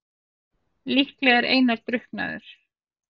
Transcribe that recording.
Líklega er Einar drukknaður.